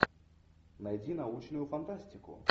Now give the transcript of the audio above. найди научную фантастику